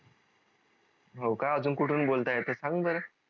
होका अजून कुठून बोलत येत सांग बर